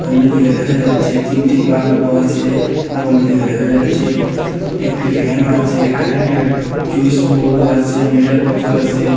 অন্যদিকে দেখা যাচ্ছে তিনটি বাল্পো আছে এবং অন্যদিকে দেখা যাচ্ছে একটি ফ্যানও আছে কারেন্টের চুইসবোর্ডও আসে মিটার বক্সও আসে।